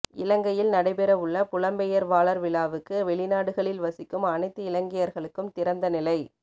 இலங்கையில் நடைபெறவுள்ள புலம்பெயர்வாளர் விழாவுக்கு வெளிநாடுகளில் வசிக்கும் அனைத்து இலங்கையர்களுக்கும் திறந்தநிலை